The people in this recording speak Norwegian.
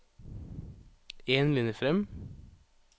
En linje fram